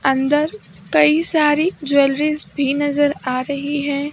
अंदर कई सारी ज्वेलरीज भी नजर आ रही हैं।